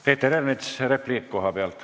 Peeter Ernits, repliik kohapealt.